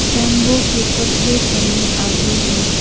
बेबों के पतले तने आगे हैं।